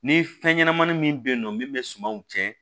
Ni fɛn ɲɛnamani min bɛ yen nɔ min bɛ sumanw tiɲɛ